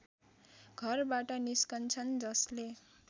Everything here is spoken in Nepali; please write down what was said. घरबाट निस्किन्छन् जसले